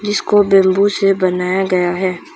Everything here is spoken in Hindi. इसको बैंबू से बनाया गया है।